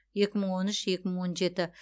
екі мың он үш екі мың он жеті